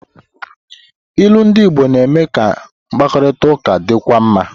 Ilu ndị Igbo na-eme ka mkparịta ụka dịkwuo mma.